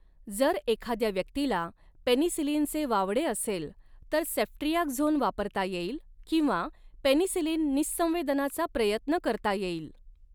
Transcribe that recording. जर एखाद्या व्यक्तीला पेनिसिलिनचे वावडे असेल, तर सेफ्ट्रियाक्झोन वापरता येईल किंवा पेनिसिलिन निःसंवेदनाचा प्रयत्न करता येईल.